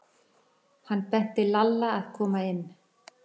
Hann benti Lalla að koma inn.